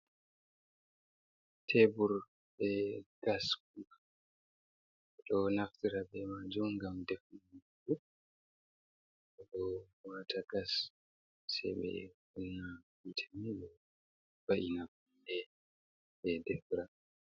Tebur be gas kuka bedo naftira be majum gam defurgo bedo wata gas sebe kunna hitemajum beva’ina be defira.